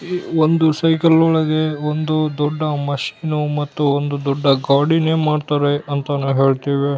E ಒಂದು cycle ಒಳಗೆ ಒಂದು ದೊಡ್ಡ ಮಷಿನ್ ಮತ್ತು ಒಂದು ದೊಡ್ಡ ಗಾಡಿನೇ ಮಾಡ್ತಾರೆ ಅಂತ ನಾವು ಹೇಳ್ತೇವೆ .